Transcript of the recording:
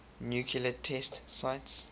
nuclear test sites